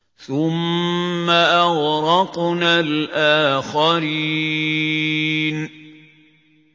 ثُمَّ أَغْرَقْنَا الْآخَرِينَ